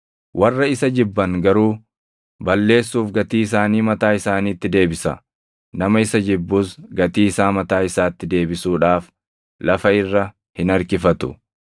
Warra isa jibban garuu, balleessuuf gatii isaanii mataa isaaniitti deebisa; nama isa jibbus gatii isaa mataa isaatti deebisuudhaaf // lafa irra hin harkifatu.